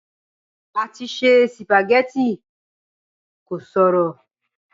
Àti se sìpàgẹ́tì kò ṣòro.